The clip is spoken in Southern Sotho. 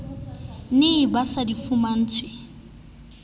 ne ba sa di fumantshwe